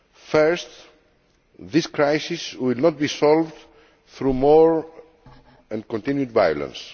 Firstly, this crisis will not be solved through more and continued violence.